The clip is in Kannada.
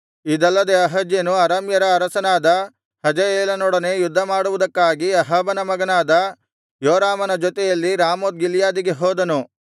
ಇದಲ್ಲದೆ ಅಹಜ್ಯನು ಅರಾಮ್ಯರ ಅರಸನಾದ ಹಜಾಯೇಲನೊಡನೆ ಯುದ್ಧಮಾಡುವುದಕ್ಕಾಗಿ ಅಹಾಬನ ಮಗನಾದ ಯೋರಾಮನ ಜೊತೆಯಲ್ಲಿ ರಾಮೋತ್ ಗಿಲ್ಯಾದಿಗೆ ಹೋದನು